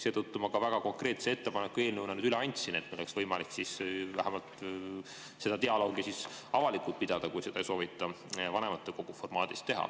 Seetõttu ma ka väga konkreetse ettepaneku eelnõuna üle andsin, et oleks võimalik vähemalt seda dialoogi avalikult pidada, kui seda ei soovita vanematekogu formaadis teha.